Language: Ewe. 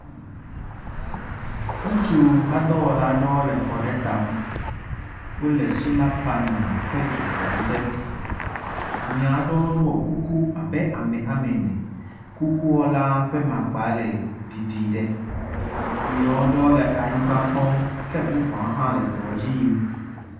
ŋutsu hadɔ wɔla aɖewo le xɔla tame wóle sola panel ƒe dzokaɖi dem amia aɖewo ɖo kuku abe amɛ amɛnɛ kukuɔla ƒa makpa le ɖiɖi ɖɛ amiowo ɖowo lɛ anyingba kpɔm ke bubuawo hã le edɔ dziyim